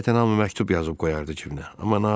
Adətən hamı məktub yazıb qoyardı cibinə.